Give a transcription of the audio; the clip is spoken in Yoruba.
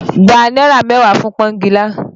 Gba náírà mẹ́wàá fún pọ́ngilá!